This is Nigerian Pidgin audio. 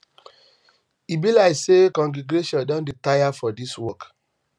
e be like say congregation don dey tire for this work